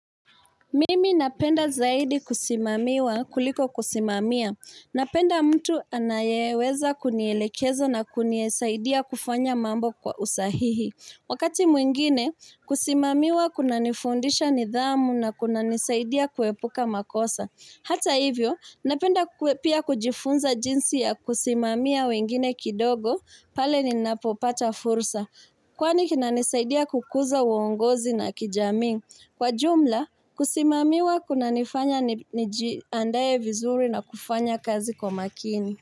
Mimi napenda zaidi kusimamiwa kuliko kusimamia. Napenda mtu anayeweza kunielekeza na kunisaidia kufanya mambo kwa usahihi. Wakati mwingine, kusimamiwa kunanifundisha nidhamu na kunanisaidia kuepuka makosa. Hata hivyo, napenda pia kujifunza jinsi ya kusimamia wengine kidogo pale ninapopata fursa. Kwani kinanisaidia kukuza uongozi na kijamii. Kwa jumla, kusimamiwa kunanifanya nijiandae vizuri na kufanya kazi kwa makini.